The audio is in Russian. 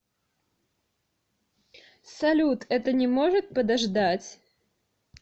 салют это не может подождать